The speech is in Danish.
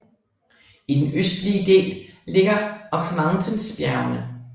I den østlige del ligger Ox Mountains bjergene